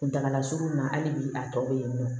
Kuntagala surunna hali bi a tɔ bɛ yen nɔ